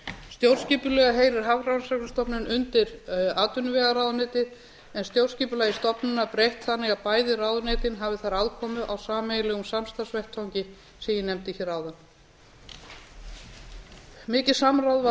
stjórnskipulega heyrir hafrannsóknastofnun undir atvinnuvegaráðuneytið en stjórnskipulagi stofnana breytt þannig að bæði ráðuneytin hafi þar aðkomu á sameiginlegum samstarfsvettvangi sem ég nefndi hér áðan mikið samráð var